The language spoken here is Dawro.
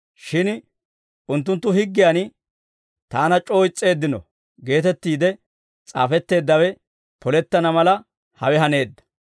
Shin unttunttu higgiyan, ‹Taana c'oo is's'eeddino› geetettiide s'aafetteeddawe polettana mala, hawe haneedda.